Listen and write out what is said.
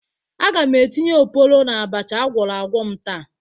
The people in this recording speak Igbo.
Aga m etinye oporo n'abacha agwọrọ agwọ m taa